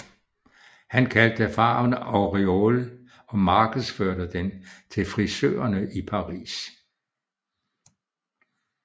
Han kaldte farven Auréole og markedsførte den til frisørerne i Paris